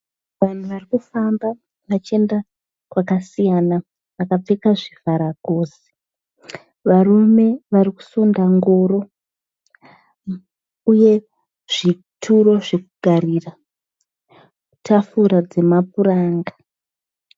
Vanhu varikufamba vachienda kwakasiyana. Vakapfeka zvivhara gosi. Varume varikusunda ngoro uye zvituro zvekugarira tafura dzemapuranga.